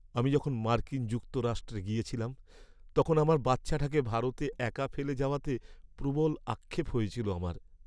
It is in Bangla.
আমি যখন মার্কিন যুক্তরাষ্ট্রে গেছিলাম তখন আমার বাচ্চাটাকে ভারতে একা ফেলে যাওয়াতে প্রবল আক্ষেপ হয়েছিল আমার।